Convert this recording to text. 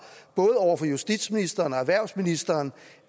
både over for justitsministeren og erhvervsministeren